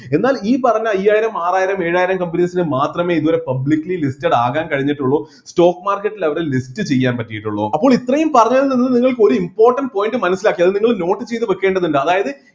എന്നാൽ ഈ പറഞ്ഞ അയ്യായിരം ആറായിരം ഏഴായിരം companies ന് മാത്രമെ ഇതുവരെ publicily listed ആകാൻ കഴിഞ്ഞിട്ടുള്ളൂ stock market level list ചെയ്യാൻ പറ്റിയിട്ടുള്ളു അപ്പോൾ ഇത്രയും പറഞ്ഞത് നിന്ന് നിങ്ങൾക്ക് ഒരു important point മനസ്സിലാക്കി അത് നിങ്ങൾ note ചെയ്‌ത്‌ വേക്കേണ്ടതിണ്ട് അതായത്